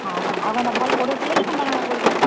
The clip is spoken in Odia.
ହଁ ହଁ, ଆଉ କେନ୍ତା ଭଲ୍ ପଢଉଥିଲେ କି କେନ୍ତା କାଣା କରୁଥିଲେ?